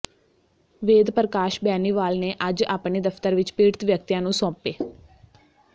ਵੇਦ ਪ੍ਰਕਾਸ਼ ਬੈਨੀਵਾਲ ਨੇ ਅੱਜ ਆਪਣੇ ਦਫ਼ਤਰ ਵਿੱਚ ਪੀੜਤ ਵਿਅਕਤੀਆਂ ਨੂੰ ਸੌਂਪੇ